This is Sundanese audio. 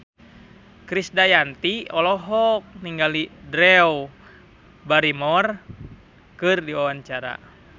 Krisdayanti olohok ningali Drew Barrymore keur diwawancara